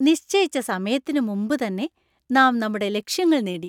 നിശ്ചയിച്ച സമയത്തിന് മുമ്പുതന്നെ നാം നമ്മുടെ ലക്ഷ്യങ്ങൾ നേടി